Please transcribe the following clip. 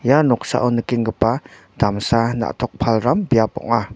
ia noksao nikenggipa damsa na·tok palram biap ong·a.